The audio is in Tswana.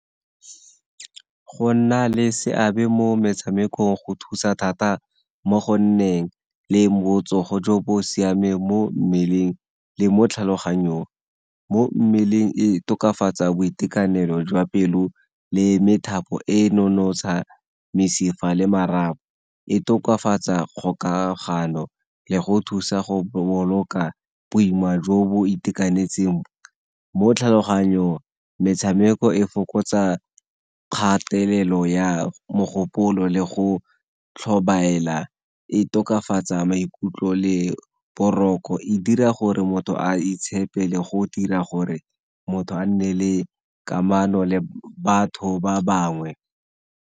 Go nna le seabe mo metshamekong go thusa thata mo go nneng le botsogo jo bo siameng mo mmeleng le mo tlhaloganyong. Mo mmeleng e tokafatsa boitekanelo jwa pelo le methapo e nonotsha mesifa le marapo, e tokafatsa kgokagano le go thusa go boloka boima jo bo itekanetseng mo tlhaloganyong. Metshameko e fokotsa kgatelelo ya mogopolo le go tlhobaela e tokafatsa maikutlo le boroko, e dira gore motho a itshepe le go dira gore motho a nne le kamano le batho ba bangwe.